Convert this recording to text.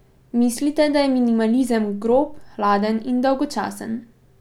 Mislite, da je minimalizem grob, hladen in dolgočasen?